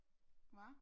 Hva